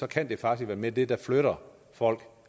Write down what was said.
kan det faktisk være det der flytter folk